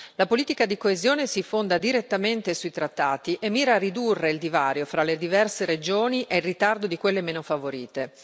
La politica di coesione si fonda direttamente sui trattati e mira a ridurre il divario fra le diverse regioni e il ritardo di quelle meno favorite.